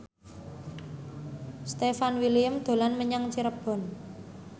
Stefan William dolan menyang Cirebon